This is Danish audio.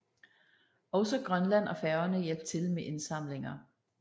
Også Grønland og Færøerne hjalp til med indsamlinger